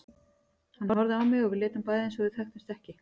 Hann horfði á mig og við létum bæði eins og við þekktumst ekki.